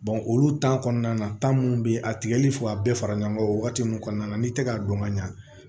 olu kɔnɔna na mun be yen a tigɛli ka bɛɛ fara ɲɔgɔn kan o wagati nunnu kɔnɔna na n'i tɛ k'a dɔn ka ɲa